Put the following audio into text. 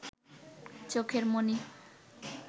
চোখের মণি